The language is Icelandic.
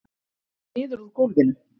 Niður úr gólfinu.